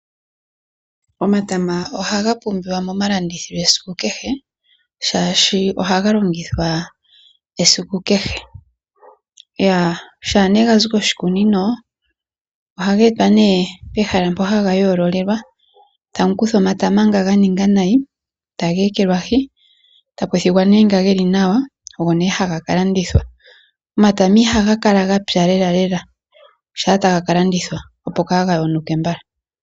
Omatama ohaga pumbiwa momalandithilo esiku kehe, shaashi ohaga longithwa esiku kehe. Shampa ga zi koshikunino ohaga etwa nee pehala mpoka haga yoololelwa tamu kuthwa omatama nga ga ninga nayi, taga ekelwahi tapu thigwa nee nga ge li nawa ogo nee haga ka landithwa. Omatama ihaga kala ga pya lelalela shaa taga ka landithwa, opo kaa ga yonuke mbala.